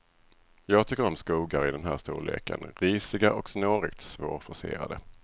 Jag tycker om skogar i den här storleken, risiga och snårigt svårforcerade.